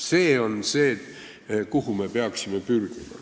Sinnapoole me peaksime pürgima.